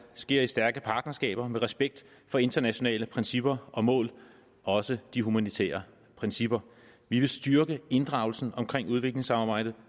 sker i stærke partnerskaber med respekt for internationale principper og mål også de humanitære principper vi vil styrke inddragelsen omkring udviklingssamarbejdet